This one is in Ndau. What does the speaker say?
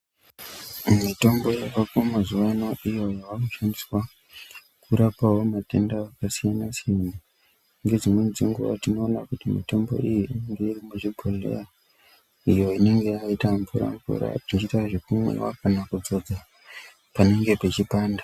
Mitombo yamazuvano iyo yakushandiswa kurapawo matenda akasiyana siyana ngezdimweni dzenguva tinoona kuti mitombo iyi irimo muzvibhedhlera inoita zvekumwiwa kana kudzidza panenga peipanda.